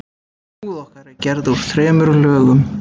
Húð okkar er gerð úr þremur lögum.